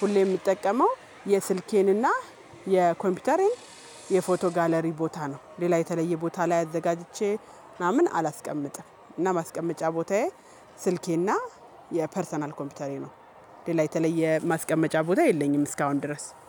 ሁሌ የምጠቀመው የስልኬንና የኮምፒውተሬን የፎቶ ጋለሪ ቦታ ነው። ሌላ የተለየ ቦታ ላይ አዘጋጅቼ ምናምን አላስቀምጥም። እና ማስቀመጫ ቦታዬ ስልኬና የፐርሰናል ኮምፒውተሬ ነው። ሌላ የተለየ ማስቀመጫ ቦታ የለኝም እስካሁን ድረስ